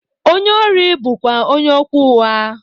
Onye órí bú kwá onye okwu ụgha.